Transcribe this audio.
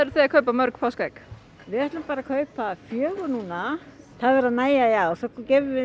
að kaupa mörg páskaegg við ætlum bara að kaupa fjögur núna það verður að nægja í ár svo gefum við